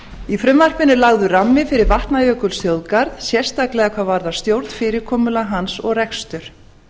í frumvarpinu er lagður rammi fyrir vatnajökulsþjóðgarð sérstaklega hvað varðar stjórnfyrirkomulag hans og rekstur